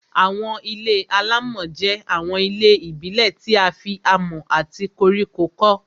Àwọn ilé-alámọ̀ jẹ́ àwọn ilé ìbílẹ̀ tí a fi amọ̀ àti koríko kọ́